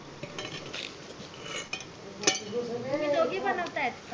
तुम्ही दोगी बनवतायत का